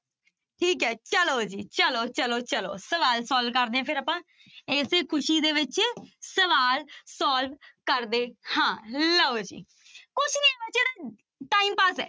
ਠੀਕ ਹੈ ਚਲੋ ਜੀ ਚਲੋ ਚਲੋ ਚਲੋ ਸਵਾਲ solve ਕਰਦੇ ਹਾਂ ਫਿਰ ਆਪਾਂ, ਇਸੇ ਖ਼ੁਸ਼ੀ ਦੇ ਵਿੱਚ ਸਵਾਲ solve ਕਰਦੇ ਹਾਂ, ਲਓ ਜੀ ਕੁਛ ਨੀ time pass ਹੈ।